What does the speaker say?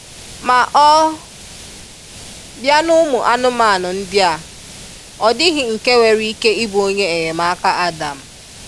Ma ọ bia n’ ụmụ anụmanụ ndị a,ọ dịghị nke nwere ike ịbụ onye enyemaka Adam.